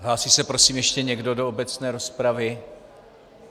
Hlásí se prosím ještě někdo do obecné rozpravy?